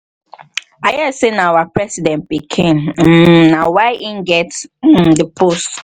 i hear say nah our president um pikin um nah why he get um the post